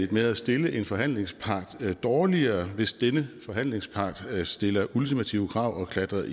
med at stille en forhandlingspart dårligere hvis denne forhandlingspart stiller ultimative krav og klatrer